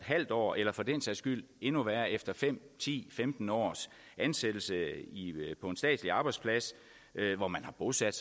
halv års eller for den sags skyld endnu værre efter fem ti femten års ansættelse på en statslig arbejdsplads hvor man har bosat